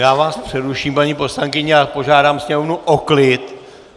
Já vás přeruším, paní poslankyně, a požádám sněmovnu o klid!